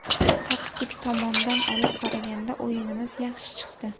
Taktik tomondan olib qaraganda, o‘yinimiz yaxshi chiqdi.